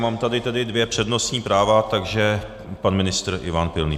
Mám tady dvě přednostní práva, takže pan ministr Ivan Pilný.